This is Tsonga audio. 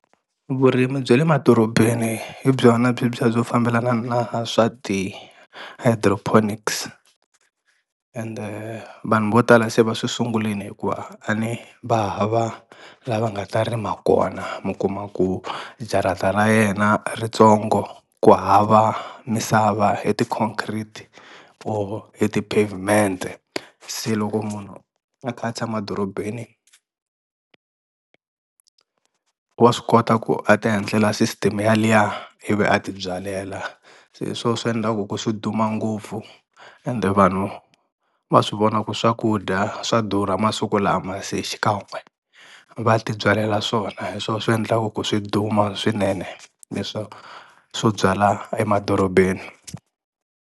Vurimi bya le madorobeni hi byona bye byi ya byo fambelana na swa ti-hydroponics, ende vanhu vo tala se va swi sungulini hikuva a ni va hava la va nga ta rima kona mi kuma ku jarata ra yena i ri tsongo ku hava misava i ti-concrete or i ti-pavement-e se loko munhu a kha a tshama dorobeni wa swi kota ku a ti endlela system yaliya ivi a ti byalela, se hi swo swi endlaku ku swi duma ngopfu ende vanhu va swi vona ku swakudya swa durha masiku lama se xikan'we va ti byalela swona hi swo swi endlaku ku swi duma swinene leswo swo byala emadorobeni.